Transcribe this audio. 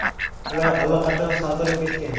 Ular allaqachon sotilib ketgan.